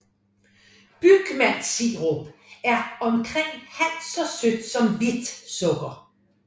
Bygmaltsirup er omkring halvt så sødt som hvidt sukker